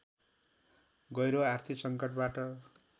गहिरो आर्थिक संकटबाट